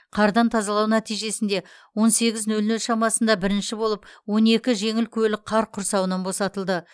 қардан тазалау нәтижесінде он сегіз нөл нөл шамасында бірінші болып он екі жеңіл көлік қар құрсауынан босатылды